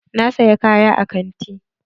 Na saya kaya a kanti.